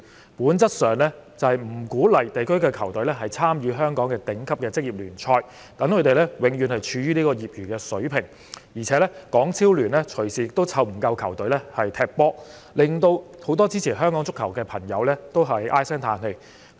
政府政策上不鼓勵區隊參與香港的頂級職業聯賽，使球隊永遠處於業餘水平，而港超聯隨時沒有足夠球隊參與比賽，令很多支持香港足球的球迷唉聲歎氣。